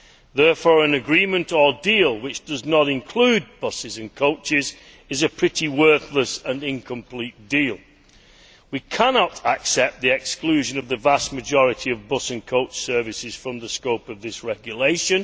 Therefore, an agreement or deal which does not include buses and coaches is a pretty worthless and incomplete deal. We cannot accept the exclusion of the vast majority of bus and coach services from the scope of this regulation.